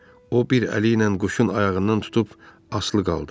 O bir əli ilə quşun ayağından tutub asılı qaldı.